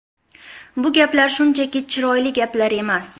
Bu gaplar shunchaki chiroyli gaplar emas.